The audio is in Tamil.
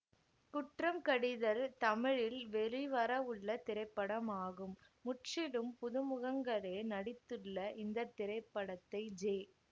குற்றம் கடிதல் தமிழில் வெளிவரவுள்ள திரைப்படமாகும் முற்றிலும் புதுமுகங்களே நடித்துள்ள இந்த திரைப்படத்தை ஜே